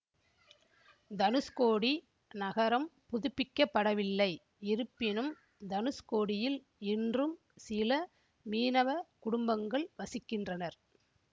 தனுஷ்கோடி நகரம் புதிப்பிக்கப்படவில்லை இருப்பினும் தனுஷ்கோடியில் இன்றும் சில மீனவ குடும்பங்கள் வசிக்கின்றனர்